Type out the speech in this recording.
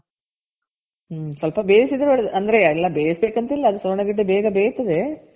ಹ್ಮ್ ಸ್ವಲ್ಪ ಬೇಯ್ಸಿದ್ರೆ ಒಳ್ಳೆದು. ಅಂದ್ರೆ ಎಲ್ಲ ಬೇಯ್ಸ್ಬೇಕು ಅಂತ ಇಲ್ಲ ಸುವರ್ಣ ಗೆಡ್ಡೆ ಬೇಗ ಬೇಯ್ತದೆ.